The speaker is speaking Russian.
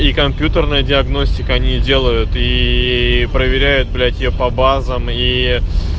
и компьютерная диагностика они её делают и проверяют блять её по базам иии